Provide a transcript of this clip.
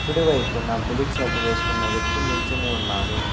కుడి వైపున బులుగు షర్ట్ వేసుకున్న వ్యక్తి నిల్చొని ఉన్నాడు.